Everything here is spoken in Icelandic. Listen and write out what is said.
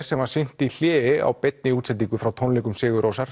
sem var sýnt í hléi á beinni útsendingu frá tónleikum sigur Rósar